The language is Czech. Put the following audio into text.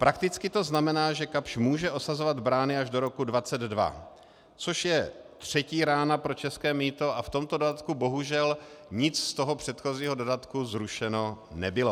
Prakticky to znamená, že Kapsch může osazovat brány až do roku 2022, což je třetí rána pro české mýto, a v tomto dodatku bohužel nic z toho předchozího dodatku zrušeno nebylo.